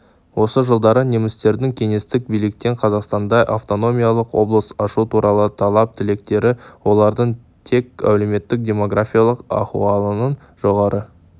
осы жылдары немістердің кеңестік биліктен қазақстанда автономиялық облыс ашу туралы талап-тілектері олардың тек әлеуметтік-демографиялық ахуалының жоғары